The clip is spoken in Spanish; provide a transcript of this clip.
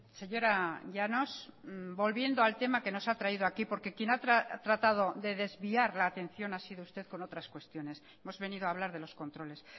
señora llanos volviendo al tema que nos ha traído aquí porque quien ha tratado de desviar la atención ha sido usted con otras cuestiones hemos venido a hablar de los controles